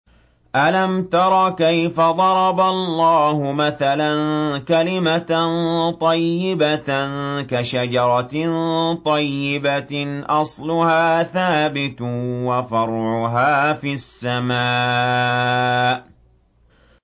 أَلَمْ تَرَ كَيْفَ ضَرَبَ اللَّهُ مَثَلًا كَلِمَةً طَيِّبَةً كَشَجَرَةٍ طَيِّبَةٍ أَصْلُهَا ثَابِتٌ وَفَرْعُهَا فِي السَّمَاءِ